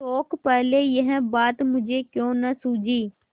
शोक पहले यह बात मुझे क्यों न सूझी